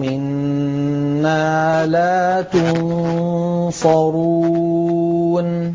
مِّنَّا لَا تُنصَرُونَ